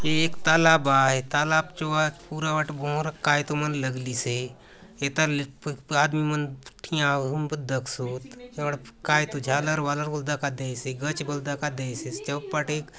ये एक तालाब आय तालाब चो आज पूरा बाटे भवरोंक कायतो मन लगलीसे एता आदमी मन ठिया होऊन भांति दखसोत ए बाट कायतो झालर - वालर बले दखा देयसे गच बले दखा देयसे --